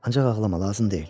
Ancaq ağlama lazım deyil.